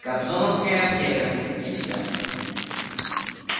кобзоновская аптека и все